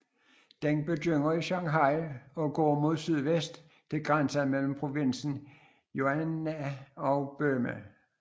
Den begynder i Shanghai og går mod sydvest til grænsen mellem provinsen Yunnan og Burma